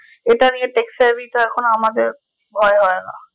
এটা নিয়ে take survey তে এখন আমাদের ভয় হয় না